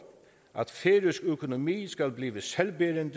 at færøsk økonomi skal blive selvbærende